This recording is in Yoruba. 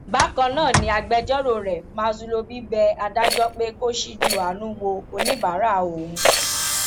bákan náà ni agbẹjọrò rẹ ma zulobi bẹ adájọ pé kó ṣíjú àánú wo oníbàárà òun